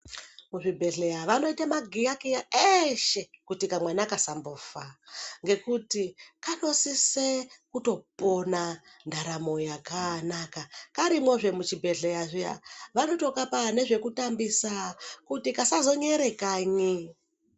Muzvibhedhleya vanoite magiyakiya eshe kuti kamwana kasambofa ngekuti kanosise kutopona ndaramo yakanaka. Karimwozve muchibhedhleya zviya vanotokapa nezvekutambisa kuti kasazonyere kanyi.